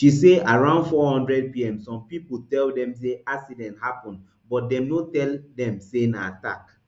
she say around four hundredpm some pipo tell dem say accident happun but dem no tell dem say na attack